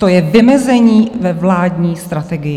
To je vymezení ve vládní strategii.